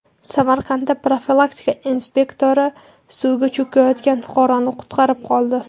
Samarqandda profilaktika inspektori suvga cho‘kayotgan fuqaroni qutqarib qoldi.